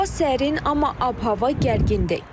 Hava sərin, amma ab-hava gərgindir.